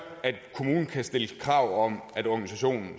at kommunen kan stille krav om at organisationen